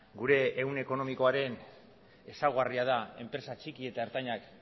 gure ehun ekonomikoaren ezaugarria da enpresa txiki eta ertainak